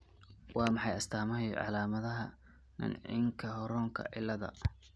Waa maxay astamaha iyo calaamadaha Nancinka Horanka cilada?